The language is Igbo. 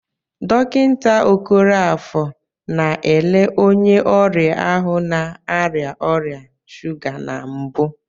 Dọkịta Okoroafor na-ele onye ọrịa ahụ na-arịa ọrịa shuga na mbụ.